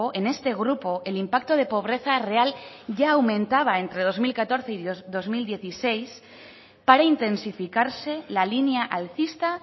en este grupo el impacto de pobreza real ya aumentaba entre dos mil catorce y dos mil dieciséis para intensificarse la línea alcista